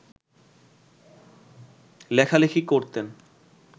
লেখালেখি করতেন